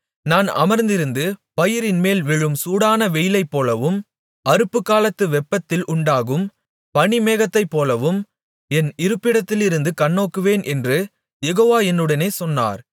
நான் அமர்ந்திருந்து பயிரின்மேல் விழும் சூடான வெயிலைப்போலவும் அறுப்புக்காலத்து வெப்பத்தில் உண்டாகும் பனிமேகத்தைப்போலவும் என் இருப்பிடத்திலிருந்து கண்ணோக்குவேன் என்று யெகோவா என்னுடனே சொன்னார்